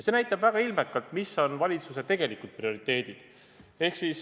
See näitab väga ilmekalt, millised on valitsuse tegelikud prioriteedid.